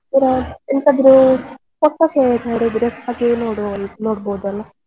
ಎಂತಾದ್ರೂ photos ಎಂತಾದ್ರೂ ಹಾಗೆ ನೋಡಬೋದಲ್ಲ.